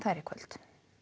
í kvöld